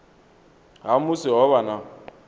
ha musi ho vha na